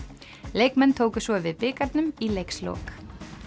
leikmenn tóku svo við bikarnum í leikslok